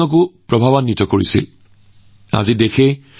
তেওঁৰ চিন্তাধাৰা আৰু তেওঁৰ ত্যাগৰ দ্বাৰা ভগত সিঙক বহু পৰিমাণে প্ৰভাৱিত কৰিছিল